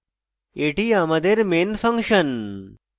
এটি আমাদের main function